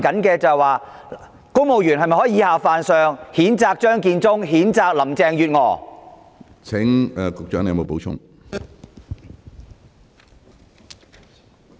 公務員是否可以以下犯上，譴責張建宗、譴責林鄭月娥？